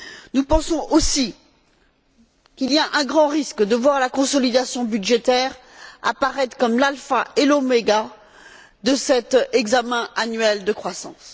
Nous pensons également qu'il y a un grand risque de voir la consolidation budgétaire apparaître comme l'alpha et l'oméga de cet examen annuel de croissance.